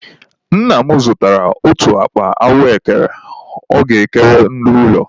Nna m zụtara otu akpa ahụekere ọ ga-ekere ndị ụlọ.